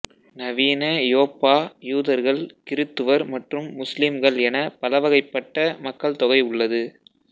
நவீன யோப்பா யூதர்கள் கிறிஸ்துவர் மற்றும் முஸ்லிம்கள் என பலவகைப்பட்ட மக்கள் தொகை உள்ளது